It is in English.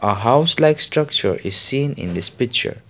a house like structure is seen in this picture.